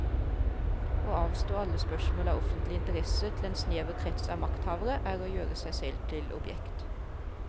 Å avstå alle spørsmål av offentlig interesse til en snever krets av makthavere er å gjøre seg selv til objekt.